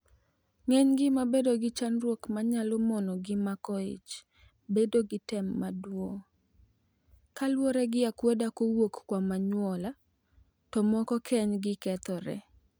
Ng'enygi ma bedo gi chandruok manyalo mono gi mako ich bedo gi tem maduong' kaluore gi akweda kowuok kuom anyuola, to moko keny gi kethore.